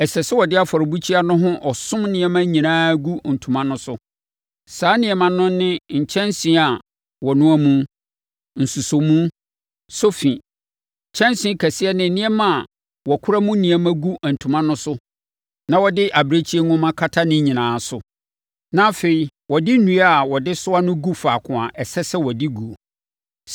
Ɛsɛ sɛ wɔde afɔrebukyia no ho ɔsom nneɛma nyinaa gu ntoma no so. Saa nneɛma no ne nkyɛnsee a wɔnoa mu, nsosɔmu, sofi, kyɛnsee kɛseɛ ne nneɛma a wɔkora mu nneɛma gu ntoma no so na wɔde abirekyie nhoma kata ne nyinaa so. Na afei, wɔde nnua a wɔde soa no gu faako a ɛsɛ sɛ wɔde guo.